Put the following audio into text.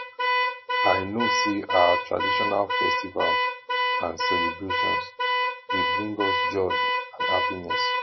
i know say our traditional festivals and celebrations dey bring us joy and happiness